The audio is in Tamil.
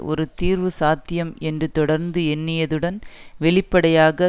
ஒரு தீர்வு சாத்தியம் என்று தொடர்ந்து எண்ணியதுடன் வெளிப்படையாக